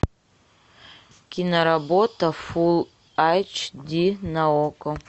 киноработа фул айч ди на окко